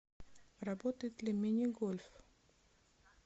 работает ли мини гольф